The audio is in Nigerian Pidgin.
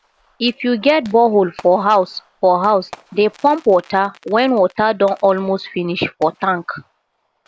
if yu get borehole for house for house dey pump water wen water don almost finish for tank